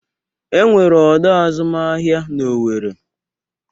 Enwere ọdọ azụmahịa n'Owere.